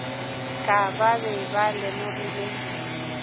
ka ba be ba lemogile